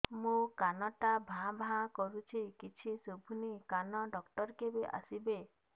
ମୋ କାନ ଟା ଭାଁ ଭାଁ କରୁଛି କିଛି ଶୁଭୁନି କାନ ଡକ୍ଟର କେବେ ଆସିବେ